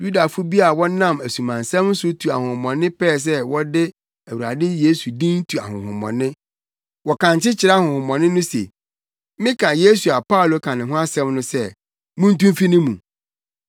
Yudafo bi a wɔnam asumansɛm so tu ahonhommɔne pɛɛ sɛ wɔde Awurade Yesu din tu ahonhommɔne. Wɔkankye kyerɛɛ ahonhommɔne no se, “Meka Yesu a Paulo ka ne ho asɛm no sɛ, muntu mfi ne mu!”